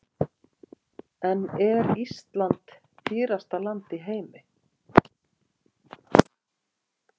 En er Ísland dýrasta land í heimi?